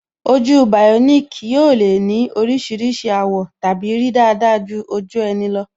Ojú bioniki yóò le ní oríṣiríṣi àwọ̀ tàbí rí dáadáa ju ojú ẹni lọ